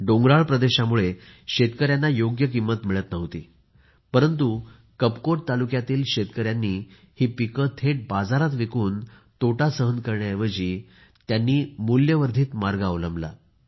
डोंगराळ प्रदेशामुळे शेतकयांना योग्य किंमत मिळत नव्हती परंतु कापकोट तालुक्यातील शेतकयांनी ही पिके थेट बाजारात विकून तोटा सहन करण्याऐवजी त्यांनी मूल्यवर्धित मार्ग अवलंबला